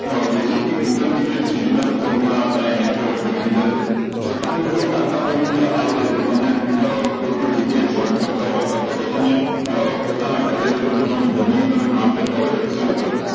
basic થી interdemiate સુધી ના તો formula આપળે અયીયા cover કરી લીધા છે જો તમને મિત્રો આટલા formula આવડે તો તમે કોઈ પણ જગ્યાએ job કરતા હોય અથવા તો તમે પોતાના ઘરે બેઠા પર કામ કરતા હોય excel ઉપર